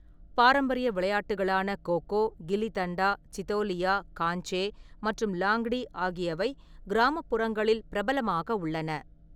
பாரம்பரிய விளையாட்டுகளான கோ கோ, கில்லி தண்டா, சிதோலியா, காஞ்சே மற்றும் லாங்டி ஆகியவை கிராமப்புறங்களில் பிரபலமாக உள்ளன.